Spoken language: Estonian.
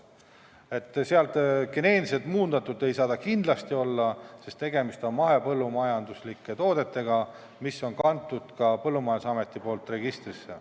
Kindlasti ei saa need olla geneetiliselt muundatud toiduained, sest tegemist on mahepõllumajanduslike toodetega, mis on kantud ka Põllumajandusameti registrisse.